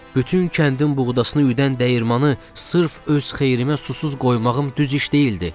Bütün kəndin buğdasını üyüdən dəyirmanı sırf öz xeyrimə susuz qoymağım düz iş deyildi.